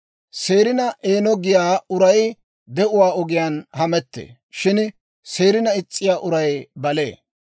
Seerina eeno giyaa uray de'uwaa ogiyaan hamettee; shin seerina is's'iyaa uray balee.